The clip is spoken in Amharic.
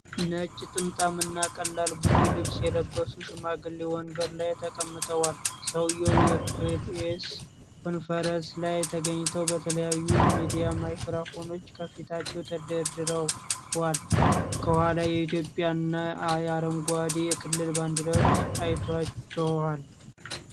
ነጭ ጥምጣምና ቀላል ቡኒ ልብስ የለበሱ ሽማግሌ ወንበር ላይ ተቀምጠዋል። ሰውየው የፕሬስ ኮንፈረንስ ላይ ተገኝተው በተለያዩ የሚዲያ ማይክሮፎኖች ከፊታቸው ተደርድሯል። ከኋላ የኢትዮጵያና የአረንጓዴ የክልል ባንዲራዎች አይታችኋል?